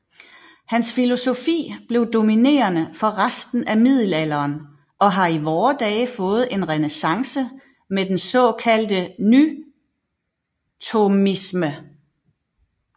Hans filosofi blev dominerende for resten af middelalderen og har i vore dage fået en renæssance med den såkaldte nythomisme